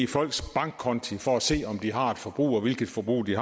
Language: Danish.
folks bankkonti for at se om de har et forbrug og hvilket forbrug de